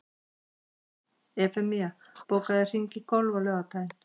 Evfemía, bókaðu hring í golf á laugardaginn.